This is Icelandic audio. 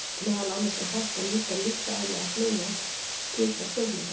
Meðal annars er hollt að líta á líffræðilegar hliðar slíkra spurninga.